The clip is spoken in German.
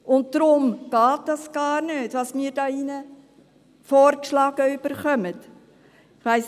Und deshalb geht das, was wir hier vorgeschlagen erhalten, gar nicht.